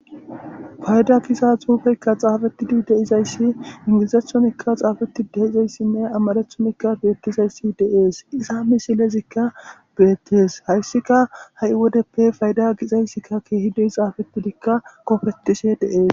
fayda giza xuufeykka xaafettidi de7izayssi ingizethonikka xaafetti de7izayssinne amarathonikka beettizayssi de7ees iza misilezikka beettes hayssika ha7i wodeppe fayda gizayssikka keehippe xaafettidikka kofettishe de7ees